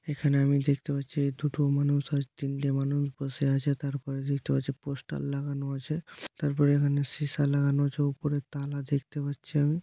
এখানে আমি দেখতে পাচ্ছি দুটো মানুষ আর তিনটে মানুষ বসে আছে তারপরে দেখতে পাচ্ছি পোস্টার লাগানো আছে তারপর এখানে সিসা লাগানো আছে ওপরে তালা দেখতে পাচ্ছি আমি।